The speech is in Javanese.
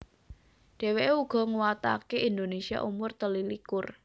Dheweke uga nguwatake Indonesia umur telulikur